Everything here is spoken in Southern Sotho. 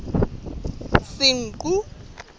senqu